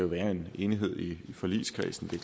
være en enighed i forligskredsen det